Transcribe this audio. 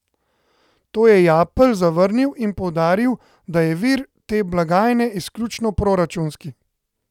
To je Japelj zavrnil in poudaril, da je vir te blagajne izključno proračunski.